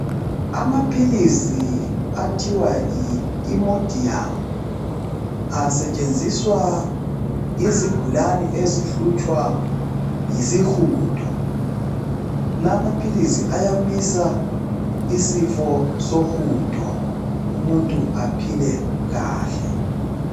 Amaphilizi athiwa yiImodium asetshenziswa yizigulane ezihlutshwa yisihudo lamaphilizi ayamisa isifo sohudo umuntu aphile kahle.